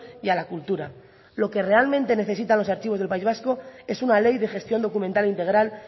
y a la cultura lo que realmente necesitan los archivos del país vasco es una ley de gestión documental integral